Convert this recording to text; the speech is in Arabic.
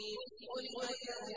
غُلِبَتِ الرُّومُ